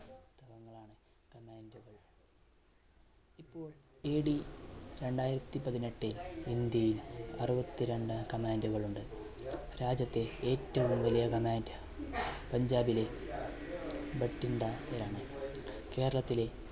AD രണ്ടായിരത്തി പതിനെട്ടിൽ ഇന്ത്യയിൽ അറുപത്തി രണ്ട് command കൾ ഉണ്ട് രാജ്യത്തെ ഏറ്റവും വലിയ command പഞ്ചാബിലെ ബറ്റിൻഡയിൽ ആണ് കേരളത്തിലെ